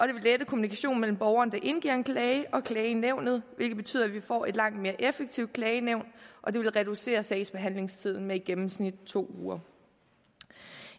det vil lette kommunikationen mellem borgeren der indgiver en klage og klagenævnet hvilket betyder at vi får et langt mere effektivt klagenævn og det vil reducere sagsbehandlingstiden med i gennemsnit to uger